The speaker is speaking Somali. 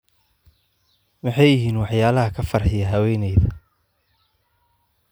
Maxay yihiin waxyaalaha ka farxiya haweeneyda?